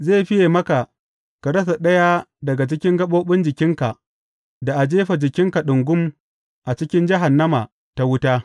Zai fiye maka ka rasa ɗaya daga cikin gaɓoɓin jikinka, da a jefa jikinka ɗungum a cikin jahannama ta wuta.